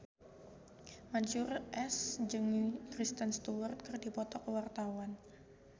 Mansyur S jeung Kristen Stewart keur dipoto ku wartawan